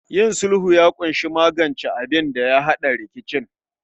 Yin sulhu ya kunshi magance abinda ya hada rikicin